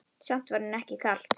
Samt var henni ekki kalt.